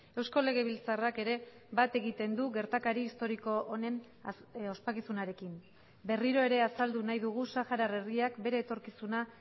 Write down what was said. eusko legebiltzarrak ere bat egiten du gertakari historiko honen ospakizunarekin berriro ere azaldu nahi dugu saharar herriak bere etorkizuna